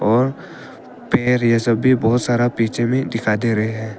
और पेर ये सभी बहोत सारा पीछे दिखाई दे रहे है।